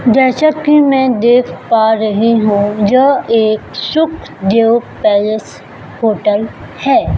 जैसा कि मैं देख पा रही हूं यह एक सुखदेव पैलेस होटल है।